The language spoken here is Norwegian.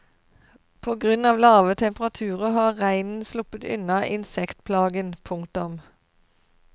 På grunn av lave temperaturer har reinen sluppet unna insektplagen. punktum